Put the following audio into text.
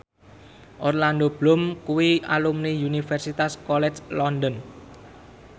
Orlando Bloom kuwi alumni Universitas College London